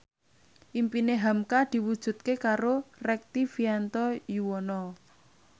impine hamka diwujudke karo Rektivianto Yoewono